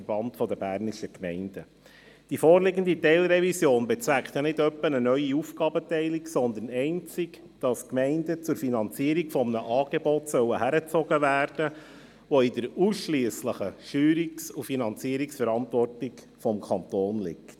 Die vorliegende Teilrevision bezweckt ja nicht etwa eine neue Aufgabenteilung, sondern sie bezweckt allein, die Gemeinden zur Finanzierung eines Angebots heranzuziehen, das in der ausschliesslichen Steuerungs- und Finanzierungsverantwortung des Kantons liegt.